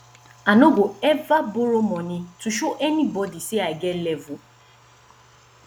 i no go eva borrow moni to show anybodi sey i get level